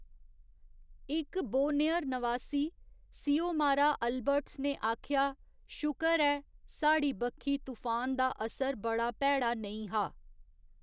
इक बोनेयर नवासी, Siomara Albertus ने आखेआ, 'शुकर ऐ, साढ़ी बक्खी तूफान दा असर बड़ा भैड़ा नेईं हा।